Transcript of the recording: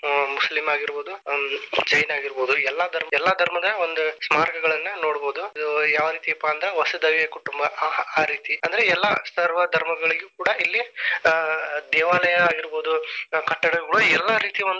Muslim ಆಗಿರಬಹುದು ಹ್ಮ್‌ ಜೈನ ಆಗಿರಬಹುದು ಎಲ್ಲಾ ಧರ್ಮ ಎಲ್ಲಾ ಧರ್ಮದ ಒಂದು ಸ್ಮಾರಕಗಳನ್ನ ನೋಡಬಹುದು. ಇದು ಯಾವ ರೀತಿಪಾ ಅಂತಂದ್ರ ವಸುದೈವ ಕುಟುಂಬ ಆ ರೀತಿ ಅಂದ್ರೆ ಎಲ್ಲಾ ಸರ್ವ ಧರ್ಮಗಳಿಗೂ ಕೂಡಾ ಇಲ್ಲಿ ಆ ದೇವಾಲಯ ಆಗಿರಬಹುದು ಕಟ್ಟಡಗಳು ಎಲ್ಲಾ ರೀತಿ ಒಂದ.